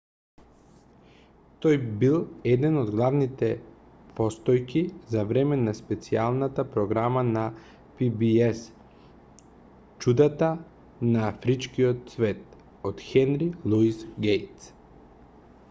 тој бил една од главните постојки за време на специјалната програма на pbs чудата на афричкиот свет од хенри луис гејтс